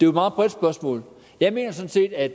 meget bredt spørgsmål jeg mener sådan set at